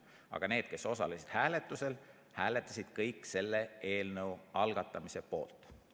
Aga need, kes osalesid hääletusel, hääletasid kõik selle eelnõu algatamise poolt.